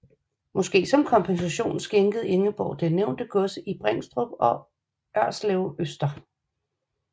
Måske som kompensation skænkede Ingeborg det nævnte gods i Bringstrup og Ørslevøster